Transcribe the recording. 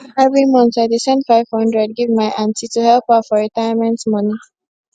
every month i dey send 500 give my aunty to help her for retirement money